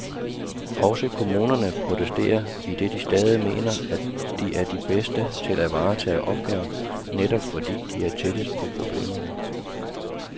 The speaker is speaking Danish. Også kommunerne protesterer, idet de stadig mener, at de er de bedste til at varetage opgaven, netop fordi de er tættest på problemerne.